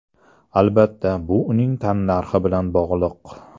Albatta, bu uning tannarxi bilan bog‘liq.